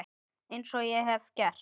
Eins og ég hef gert.